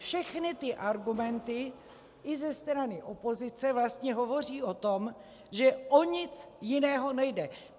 Všechny ty argumenty i ze strany opozice vlastně hovoří o tom, že o nic jiného nejde.